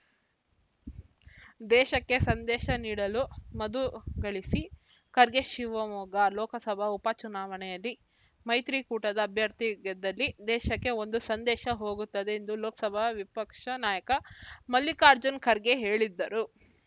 ದೇಶಕ್ಕೆ ಸಂದೇಶ ನೀಡಲು ಮಧು ಗಳಿಸಿ ಖರ್ಗೆ ಶಿವಮೊಗ್ಗ ಲೋಕಸಭಾ ಉಪ ಚುನಾವಣೆಯಲ್ಲಿ ಮೈತ್ರಿಕೂಟದ ಅಭ್ಯರ್ಥಿ ಗೆದ್ದಲ್ಲಿ ದೇಶಕ್ಕೆ ಒಂದು ಸಂದೇಶ ಹೋಗುತ್ತದೆ ಎಂದು ಲೋಕಸಭಾ ವಿಪಕ್ಷ ನಾಯಕ ಮಲ್ಲಿಕಾರ್ಜುನ್ ಖರ್ಗೆ ಹೇಳಿದರು